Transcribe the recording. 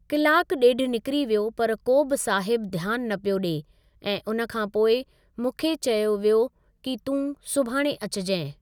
Clock ॾेढ निकरी वियो पर को बि साहिब ध्यानु न पियो ॾिए ऐं उन खां पोइ मूंखे चयो वियो कि तूं सुभाणे अचिजईं।